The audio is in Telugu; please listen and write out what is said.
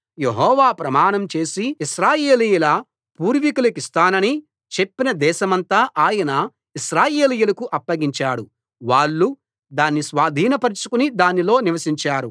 యెహోవా ప్రమాణం చేసి ఇశ్రాయేలీయుల పూర్వీకులకిస్తానని చెప్పిన దేశమంతా ఆయన ఇశ్రాయేలీయులకు అప్పగించాడు వాళ్ళు దాని స్వాధీనపరచుకుని దానిలో నివసించారు